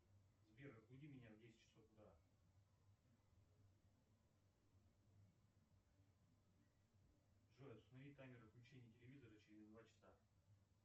сбер разбуди меня в десять часов утра джой установи таймер отключения телевизора через два часа